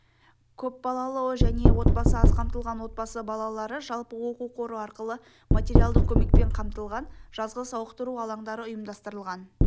көпбалалы және отбасы аз қамтылған отбасы балалары жалпы оқу қоры арқылы матаериалдық көмекпен қамтылған жазғы сауықтыру алаңдары ұйымдастырылған